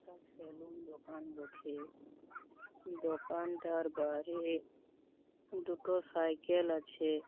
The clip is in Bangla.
এটা সেলুন দোকান বঠে। দোকানটার বারে-এ দুটো সাইকেল আছে-এ ।